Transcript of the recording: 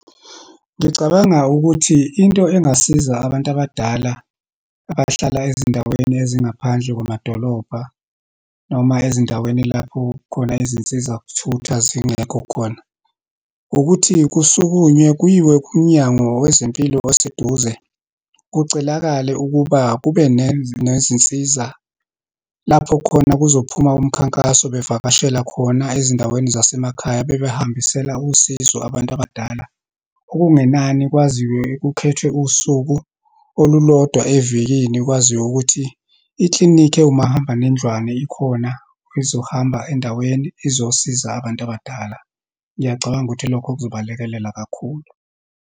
Ngicabanga ukuthi into engasiza abantu abadala abahlala ezindaweni ezingaphandle kwamadolobha, noma ezindaweni lapho khona izinsizakuthutha zingekho khona. Ukuthi kusukunywe, kuyiwe kuMnyango wezeMpilo oseduze, kucelakale ukuba kube nezinsiza, lapho khona kuzophuma umkhankaso bevakashela khona ezindaweni zasemakhaya, bebehambisela usizo abantu abadala. Okungenani, kwaziwe, kukhethwe usuku olulodwa evikini, kwaziwe ukuthi, iklinikhi ewumahamba nendlwane ikhona, ezohamba endaweni, izosiza abantu abadala. Ngiyacabanga ukuthi lokho kuzobalekelela kakhulu.